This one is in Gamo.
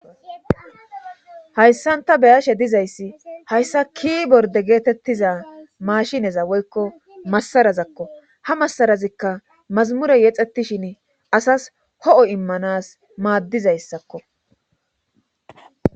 Hayssan ta beyashe dizayssi hayssa ki borde geetettiza mashineza woykko masarazakko ha massarazikka mazamure yexettishin asas ho'o immanas maaddizayssakko.